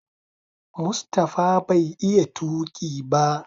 Mustapha bai iya tuki ba.